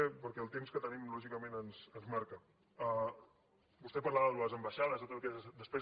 perquè el temps que tenim lògicament ens marca vostè parlava de les ambaixades de totes aquelles despeses